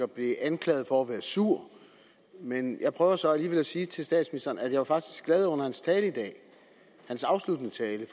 blev anklaget for at være sur men jeg prøver så alligevel at sige til statsministeren at jeg faktisk var glad under hans tale i dag hans afsluttende tale